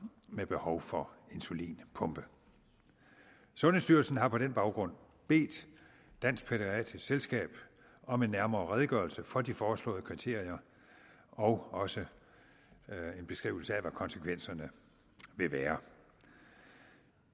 med behov for insulinpumpe sundhedsstyrelsen har på den baggrund bedt dansk pædiatrisk selskab om en nærmere redegørelse for de foreslåede kriterier og også en beskrivelse af hvad konsekvenserne vil være